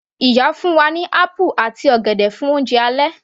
Ìyá fún wa ní apple àti ọ̀gẹ̀dẹ̀ fún oúnjẹ alẹ́